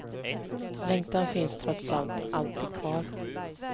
Längtan finns trots allt alltid kvar.